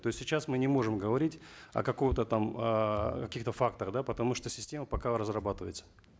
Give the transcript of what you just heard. то есть сейчас мы не можем говорить о каком то там эээ каких то фактах да потому что система пока разрабатывается